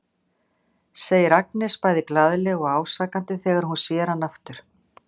segir Agnes bæði glaðlega og ásakandi þegar hún sér hann aftur.